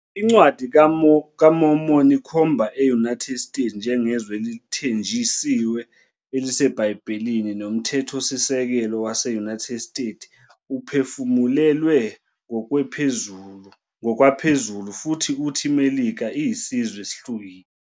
Incwadi kaMormon ikhomba e-United States njengezwe elithenjisiwe eliseBhayibhelini, noMthethosisekelo wase-United States uphefumulelwe ngokwaphezulu, futhi uthi iMelika iyisizwe esihlukile.